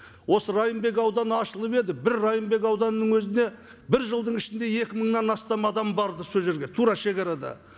осы райымбек ауданы ашылып еді бір райымбек ауданының өзіне бір жылдың ішінде екі мыңнан астам адам барды сол жерге тура шегарада